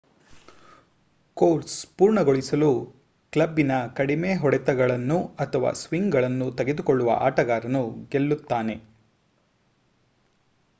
course ಪೂರ್ಣಗೊಳಿಸಲು ಕ್ಲಬ್ಬಿನ ಕಡಿಮೆ ಹೊಡೆತಗಳನ್ನು ಅಥವಾ ಸ್ವಿಂಗ್ಗಳನ್ನು ತೆಗೆದುಕೊಳ್ಳುವ ಆಟಗಾರನು ಗೆಲ್ಲುತ್ತಾನೆ